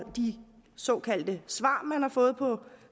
de såkaldte svar man har fået på